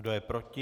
Kdo je proti?